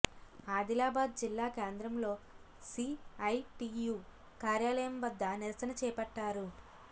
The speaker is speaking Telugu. ఆదిలాబాద్ జిల్లా కేంద్రంలో సీఐటీయూ కార్యాలయం వద్ద నిరసన చేపట్టారు